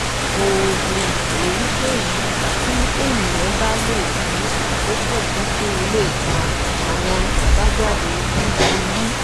oògùn èyíkéyìí tí ènìyàn bá lò fún àkókò gígùn lè fa àwọn àbájáde búburú